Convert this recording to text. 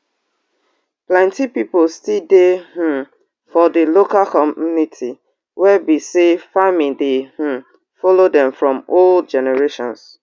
plenti pipo still dey um for di local community wey be say farming dey um follow dem from old generations